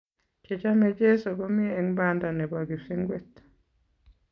che chame cheso komi eng banda nebo kipsengwet